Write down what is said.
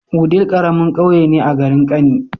Wudil karamin ƙauye ne a garin kani